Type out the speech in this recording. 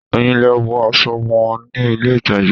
Èyàn lè wọ aṣọ wò ní ilé ìtàjà